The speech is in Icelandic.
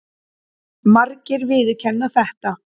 Margir viðurkenna þetta.